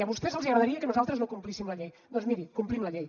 a vostès els agradaria que nosaltres no complíssim la llei doncs miri complim la llei